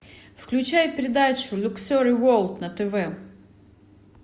включай передачу люксори ворлд на тв